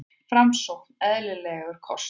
Framsókn eðlilegur kostur